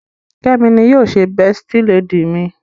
Kemi ní yíò ṣe besti lady mí.